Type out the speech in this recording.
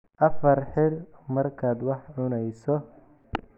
Afka xidh markaad wax cunayso.